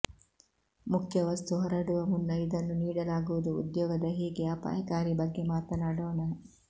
ಮುಖ್ಯ ವಸ್ತು ಹೊರಡುವ ಮುನ್ನ ಇದನ್ನು ನೀಡಲಾಗುವುದು ಉದ್ಯೋಗದ ಹೇಗೆ ಅಪಾಯಕಾರಿ ಬಗ್ಗೆ ಮಾತನಾಡೋಣ